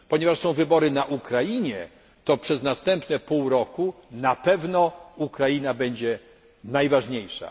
Ponieważ zbliżają się wybory na Ukrainie, to przez następne pół roku na pewno Ukraina będzie najważniejsza.